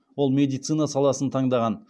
ол медицина саласын таңдаған